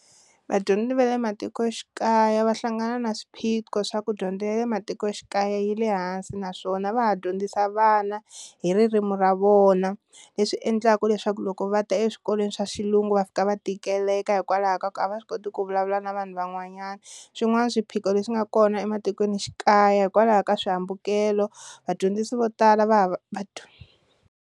Vadyondzi va le matikoxikaya va hlangana na swiphiqo swa ku dyondzo ya le matikoxikaya yi le hansi naswona va ha dyondzisa vana hi ririmi ra vona leswi endlaka leswaku loko va ta eswikolweni swa xilungu va fika va tikeleka hikwalaho ka ku a va swi koti ku vulavula na vanhu van'wanyana, swin'wana swiphiqo leswi nga kona ematikweni xikaya hikwalaho ka swihambukelo vadyondzisi vo tala va hava va.